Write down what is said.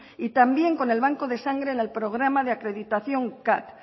y también con el banco de sangre en el programa de acreditación cat